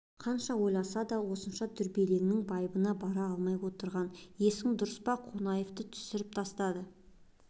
қанша ойласа да осынша дүрлігудің байыбына бара алмай отырған есің дұрыс па қонаевты түсіріп тастады